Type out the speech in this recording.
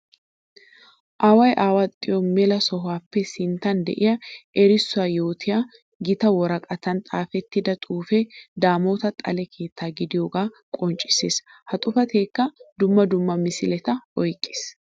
Away awaxxiyo mela sohuwappe sinttan de'iya erissuwa yootiya gita woraqatan xaafettida xuufe 'damota xale keetta' gidiyooga qoncciseessi. Ha xuufekka dumma dumma misiletta oyqqiis.